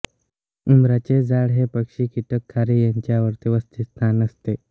उंबराचे झाड हे पक्षी कीटक खारी यांचे आवडते वसतिस्थान असते